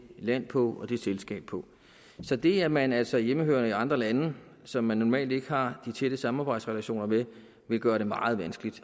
land på og det selskab på så det at man altså er hjemmehørende i andre lande som vi normalt ikke har de tætte samarbejdsrelationer med vil gøre det meget vanskeligt